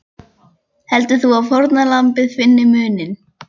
Heldur þú að fórnarlambið finni muninn?